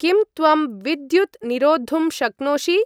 किं त्वं विद्युत् निरोद्धुं शक्नोषि?